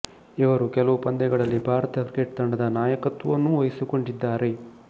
ಇವರು ಕೆಲವು ಪಂದ್ಯಗಳಲ್ಲ್ಲಿ ಭಾರತ ಕ್ರಿಕೆಟ್ ತಂಡದ ನಾಯಕತ್ವವನ್ನೂ ವಹಿಸಿಕೊಂಡಿದ್ದಾರೆ